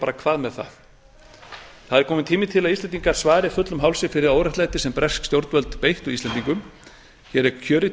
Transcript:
bara hvað með það það er kominn tími til að íslendingar svari fullum hálsi fyrir óréttlæti sem bresk stjórnvöld beittu íslendinga hér er kjörið